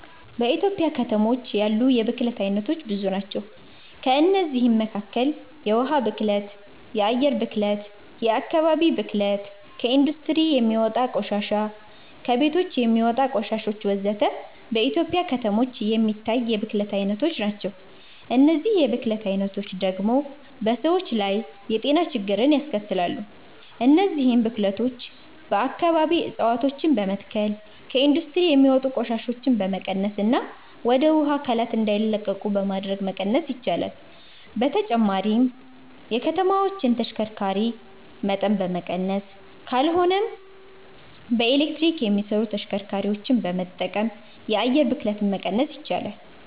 በኢትዮጵያ ከተሞች ያሉ የብክለት አይነቶች ብዙ ናቸው። ከእነዚህም መካከል የውሃ ብክለት፣ የአየር ብክለት፣ የአከባቢ ብክለት፣ ከኢንዱስትሪ የሚወጣ ቆሻሻ፣ ከቤቶች የሚወጣ ቆሻሾች ወዘተ። በኢትዮጵያ ከተሞች የሚታይ የብክለት አይነቶች ናቸው። እነዚህ የብክለት አይነቶች ደግሞ በሰዎች ላይ የጤና ችግሮችን ያስከትላሉ። እነዚህን ብክለቶች በአከባቢ እፀዋቶችን በመትከል፣ ከኢንዱስትሪ የሚወጡ ቆሻሻዎችን በመቀነስና ወደ ውሃ አካላት እንዳይለቁ በማድረግ መቀነስ ይቻላል። በተጨማሪም የከተማዎችን የተሽከርካሪ መጠን በመቀነስ ካልሆነም በኤሌክትሪክ የሚሰሩ ተሽከርካሪዎችን በመጠቀም የአየር ብክለትን መቀነስ ይቻላል።